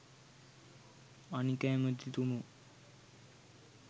අනික ඇමතිතුමෝ